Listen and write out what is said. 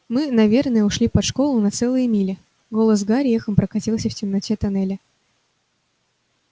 мы наверное ушли под школу на целые мили голос гарри эхом прокатился в темноте тоннеля